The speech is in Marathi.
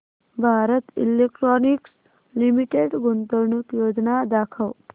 भारत इलेक्ट्रॉनिक्स लिमिटेड गुंतवणूक योजना दाखव